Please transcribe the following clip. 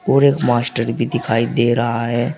और एक मास्टर भी दिखाई दे रहा है।